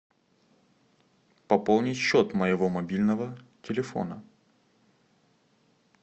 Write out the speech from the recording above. пополнить счет моего мобильного телефона